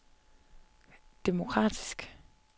demokratisk